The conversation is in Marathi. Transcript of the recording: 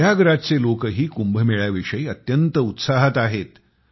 प्रयागराजचे लोकही कुंभमेळ्याविषयी अत्यंत उत्साहात आहेत